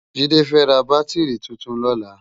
Jide fè rá bátirí tútún lòlá